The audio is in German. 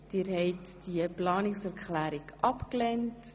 Sie haben Planungserklärung 5 abgelehnt.